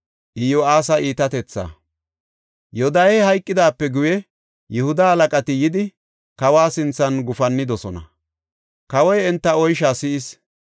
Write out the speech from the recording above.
Yoodahey hayqidaape guye Yihuda halaqati yidi kawa sinthan gufannidosona; kawoy enta oysha si7is.